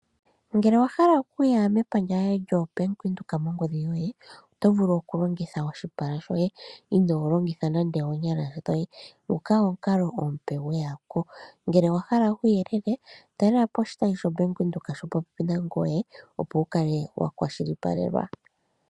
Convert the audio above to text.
Ngele owa hala okuya mepandja lyo Bank Windhoek mongodhi yoye oto vulu okulongitha oshipala shoye inoolongitha nande oonyala dhoye, nguka omukalo omupe gweya ko, ngele owa hala uuyelele talela po oshitayi sho Bank Windhoek shili po pepi nangoye, opo wu kale wakwashilipaleka.